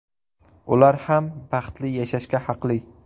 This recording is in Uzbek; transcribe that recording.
Ular ham baxtli yashashga haqli.